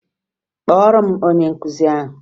Kpọọrọ m onye nkụzi ahụ!